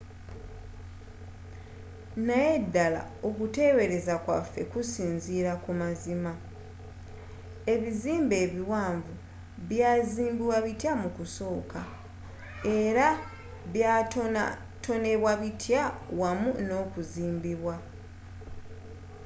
naye ddala okuteebereza kwaffe kusinziira ku mazima?ebizimbe ebiwanvu byazimbibwa bitya mu kusooka? era byatonatonebwa bitya wamu nokuzimbibwa?